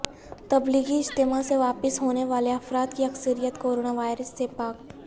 تبلیغی اجتماع سے واپس ہونے والے افراد کی اکثریت کورونا وائرس سے پاک